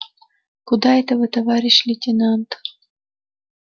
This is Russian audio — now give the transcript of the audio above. куда это вы товарищ лейтенант